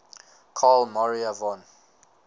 carl maria von